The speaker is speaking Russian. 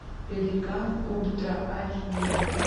пеликан ультра айч ди